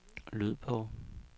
lyd på